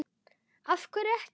af hverju ekki?